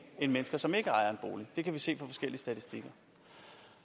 end mennesker som ikke ejer en bolig det kan vi se i forskellige statistikker